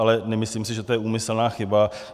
Ale nemyslím si, že to je úmyslná chyba.